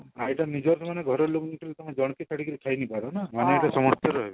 ଏଇଟା ନିଜର ମାନେ ଘର ଲୁକର କାହାକୁ ଜନକୁ ଛାଡିକିରି ଖାଇନେଇ ପାରେନା